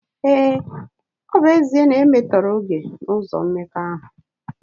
Ee, ọ bụ ezie na oge e metọrọ n’ụzọ mmekọahụ